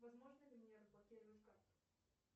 возможно ли мне разблокировать карту